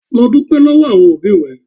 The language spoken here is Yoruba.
Lọ dúpẹ́ lọ́wọ́ àwọn òbí rẹ.